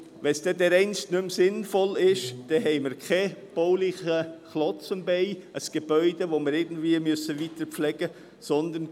Sollte es dereinst nicht mehr sinnvoll sein, hätten wir keinen baulichen Klotz am Bein, ein Gebäude, das wir weiterpflegen müssten.